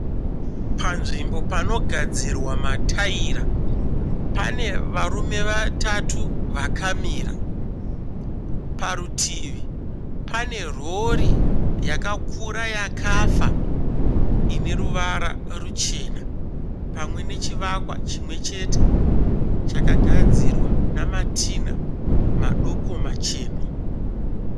Panzvimbo panogadzirwa mataira. Pane varume vatatu vakamira. Parutivi pane rori yakakura yakafa ine ruvara ruchena. Pamwe nechivakwa chimwechete chakagadzirwa namatinha madoko machena.